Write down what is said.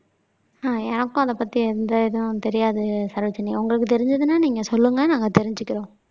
ஆஹ் எனக்கும் அதைப் பத்தி எந்த இதுவும் தெரியாது சரோஜினி உங்களுக்குத் தெரிஞ்சதுன்னா நீங்க சொல்லுங்க நாங்க தெரிஞ்சுக்கிறோம்